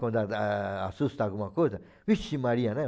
Quando assusta alguma coisa, vixe Maria, né?